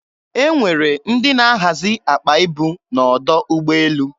E nwere ndị na-ahazi akpa ibu n'ọdọ ụgbọelu.